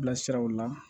Bilasiraw la